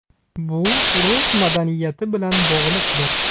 Bu rus madaniyati bilan bog‘liqdir.